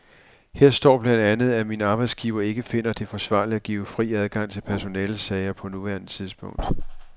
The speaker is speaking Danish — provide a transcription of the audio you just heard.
Her står blandt andet, at min arbejdsgiver ikke finder det forsvarligt at give fri adgang til personalesager på nuværende tidspunkt.